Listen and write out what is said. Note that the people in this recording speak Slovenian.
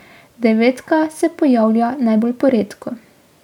Devetka se pojavlja najbolj poredko.